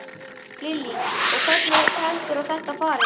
Lillý: Og hvernig heldurðu að þetta fari?